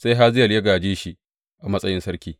Sai Hazayel ya gāje shi a matsayin sarki.